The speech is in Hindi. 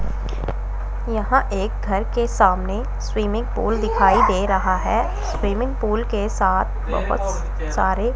यहां एक घर के सामने स्विमिंग पूल दिखाई दे रहा है स्विमिंग पूल के साथ बहुत सारे--